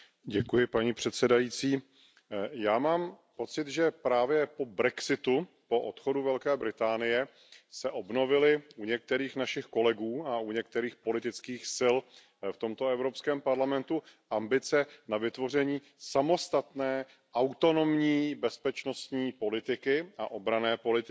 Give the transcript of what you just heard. Paní předsedající, já mám pocit, že právě po brexitu, po odchodu Velké Británie, se obnovily u některých našich kolegů a u některých politických sil v tomto Evropském parlamentu ambice na vytvoření samostatné autonomní bezpečnostní politiky a obranné politiky.